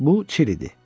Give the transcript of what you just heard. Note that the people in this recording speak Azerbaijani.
Bu, Çil idi.